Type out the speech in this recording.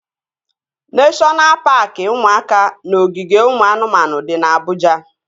Neshọna paaki ụmụaka na ogige ụmụ anụmanụ dị na Abụja